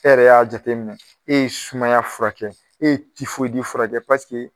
E yɛrɛ y'a jateminɛ e ye sumaya furakɛ e ye tifoyidi furakɛ